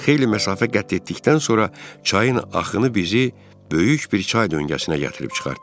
Xeyli məsafə qət etdikdən sonra çayın axını bizi böyük bir çay döngəsinə gətirib çıxartdı.